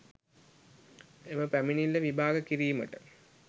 එම පැමිණිල්ල විභාග කිරීමට